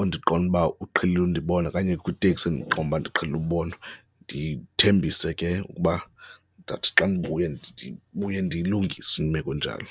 endiqonda uba uqhelile undibona okanye kwitekisi endiqonda uba ndiqhelile ubonwa ndithembise ke ukuba ndawuthi xa ndibuye, ndibuye ndiyilungise imeko njalo.